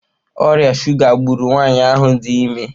Ọrịa shuga gburu nwanyị ahụ dị ime.